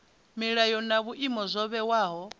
milayo na vhuimo zwo vhewaho